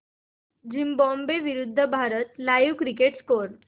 Zimbabwe विरूद्ध Bharat live cricket score